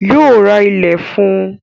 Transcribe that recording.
Yóò ra ilẹ̀ fún un